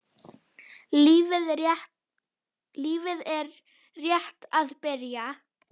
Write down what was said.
Lífið er rétt að byrja.